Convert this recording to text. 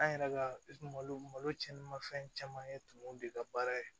An yɛrɛ ka malo malo cɛn ma fɛn caman ye tumu de ka baara ye